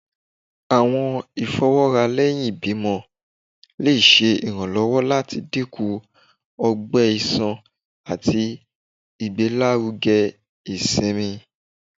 Awọn ifọwọra lẹhin ibimọ le ṣe iranlọwọ lati dinku ọgbẹ iṣan ati igbelaruge isinmi.